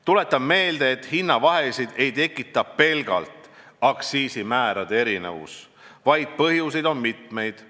Tuletan meelde, et hinnavahesid ei tekita pelgalt aktsiisimäärade erinevus, vaid põhjuseid on mitmeid.